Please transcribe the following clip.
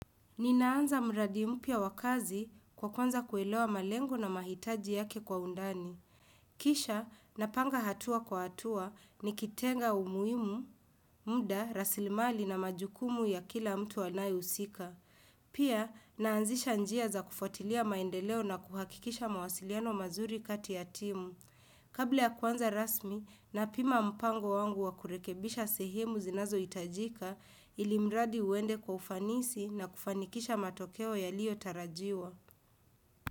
Ninaanza mradi mpya wa kazi kwa kwanza kuelewa malengo na mahitaji yake kwa undani. Kisha, napanga hatua kwa hatua ni kitenga umuimu, muda, raslimali na majukumu ya kila mtu anayeusika. Pia, naanzisha njia za kufuatilia maendeleo na kuhakikisha mawasiliano mazuri kati ya timu. Kabla ya kwanza rasmi na pima mpango wangu wa kurekebisha sehemu zinazo itajika ilimradi uende kwa ufanisi na kufanikisha matokeo yalio tarajiwa.